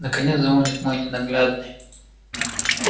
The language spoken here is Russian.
наконец звонит мой ненаглядный